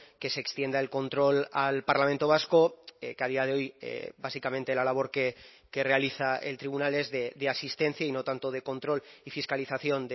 que se extienda el control al parlamento vasco que a día de hoy básicamente la labor que realiza el tribunal es de asistencia y no tanto de control y fiscalización